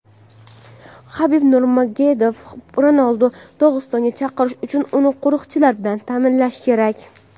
Habib Nurmagomedov: Ronalduni Dog‘istonga chaqirish uchun uni qo‘riqchilar bilan ta’minlash kerak.